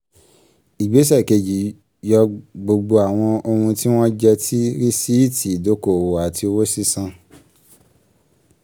ìgbésẹ̀ kejì yọ gbogbo àwọn ohun tí wọ́n jẹ́ ti rìsíìtì ìdókòòwò àti owó sísan.